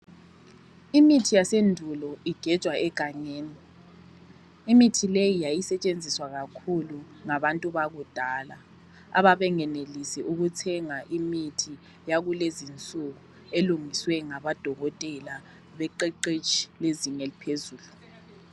Imithi yasendulo igejwa egangeni. Imithi leyi yayisetshenziswa kakhulu ngabantu bakudala ababengenelisi ukuthenga imithi yakulezinsuku elungiswe ngamadokotela beqeqetshi bezing' eliphezulu.